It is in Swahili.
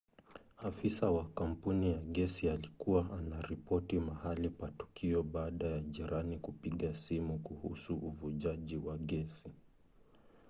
afisa wa kampuni ya gesi alikuwa anaripoti mahali pa tukio baada ya jirani kupiga simu kuhusu uvujaji wa gesi